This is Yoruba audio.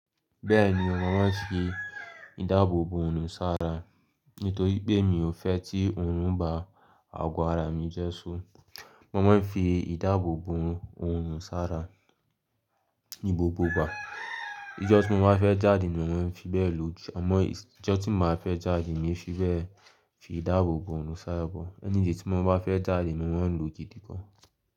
Bẹ́ẹ̀ni, mo máa ń fi ìdáàbò bo òòrùn sára nítorí pé mi ò fẹ́ tí òòrùn bá ago ara mi jẹ́. Mo máa ń fi ìdáàbò bo òòrùn sára ní gbogbo ìgbà. Ijọ́ tí mo bá fẹ́ jáde ni mo maa n fi bẹ́ẹ̀ lò jù, àmọ́ ijọ́ tí n ba fẹ́ jáde n fi bẹ́ẹ̀ fi ìdáàbò bo òòrùn sára bọ̀. Anyday tí mo bá fẹ́ jáde ni mo maa ń lò gidi gan.